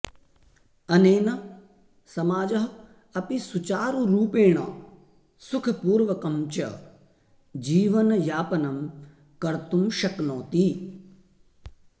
अनेन समाजः अपि सुचारुरुपेण सुखपूर्वकं च जीवनयापनं कर्तुं शक्नोति